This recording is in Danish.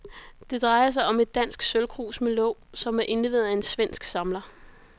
Det drejer sig om et dansk sølvkrus med låg, som er indleveret af en svensk samler.